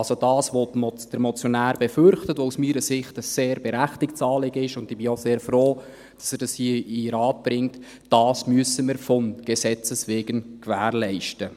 Also: Das, was der Motionär befürchtet und was aus meiner Sicht ein sehr berechtigtes Anliegen ist – und ich bin auch sehr froh, dass er es hier in den Rat bringt –, das müssen wir von Gesetzes wegen gewährleisten.